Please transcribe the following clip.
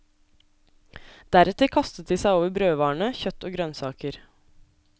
Deretter kastet de seg over brødvarene, kjøtt og grønnsaker.